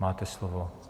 Máte slovo.